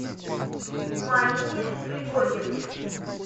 марине григорьевне